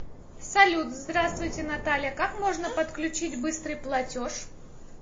салют здравствуйте наталия как можно подключить быстрый платеж